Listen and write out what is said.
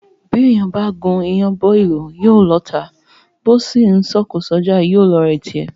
Bí èèyàn bá gún iyán bọ́ ìlú, yóò lọ́ọ̀tá; bó sì ńsọ òkò s’ọ́jà, yóò lọ́ọ̀rẹ́ tirẹ̀.